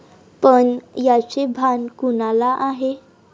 पण याचे भान कुणाला आहे?